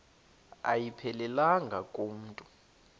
ayiphelelanga ku mntu